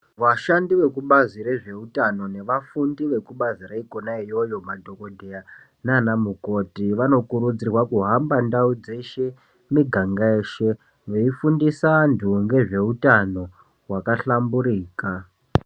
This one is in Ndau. Vashandi vekubazi rezveutano nevafundi vekubazi reikona iyoyo madhokodheya naana mukoti vanokurudzirwa kuhamba ndau dzeshe, mumiganga yeshe veifundisa anthu ngezveutano hwakahlamburika.